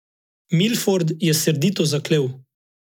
Milford je srdito zaklel.